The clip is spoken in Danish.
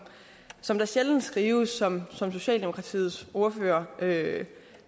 som der sjældent skrives om som socialdemokratiets ordfører sagde